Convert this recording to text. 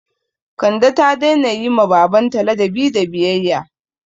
Kande ta daina yi ma baban ta ladabi da biyayya